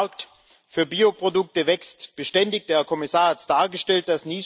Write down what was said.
Der Markt für Bioprodukte wächst beständig, der Herr Kommissar hat es dargestellt.